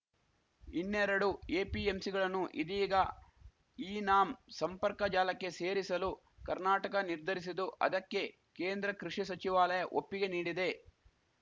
ಇನ್ನೆರಡು ಎಪಿಎಂಸಿಗಳನ್ನು ಇದೀಗ ಇನಾಮ್‌ ಸಂಪರ್ಕ ಜಾಲಕ್ಕೆ ಸೇರಿಸಲು ಕರ್ನಾಟಕ ನಿರ್ಧರಿಸಿದ್ದು ಅದಕ್ಕೆ ಕೇಂದ್ರ ಕೃಷಿ ಸಚಿವಾಲಯ ಒಪ್ಪಿಗೆ ನೀಡಿದೆ